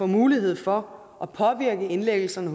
mulighed for at påvirke indlæggelserne